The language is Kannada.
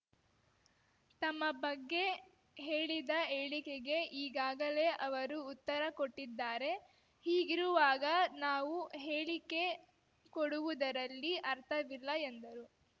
ತಮ್ಮ ಬಗ್ಗೆ ಹೇಳಿದ ಹೇಳಿಕೆಗೆ ಈಗಾಗಲೇ ಅವರು ಉತ್ತರ ಕೊಟ್ಟಿದ್ದಾರೆ ಹೀಗಿರುವಾಗ ನಾವು ಹೇಳಿಕೆ ಕೊಡುವುದರಲ್ಲಿ ಅರ್ಥವಿಲ್ಲ ಎಂದರು